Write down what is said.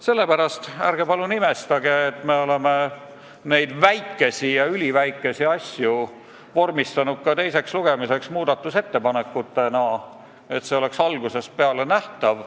Sellepärast ärge palun imestage, et me oleme neid väikesi ja üliväikesi asju vormistanud ka teiseks lugemiseks muudatusettepanekutena, et see oleks algusest peale nähtav.